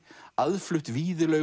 aðflutt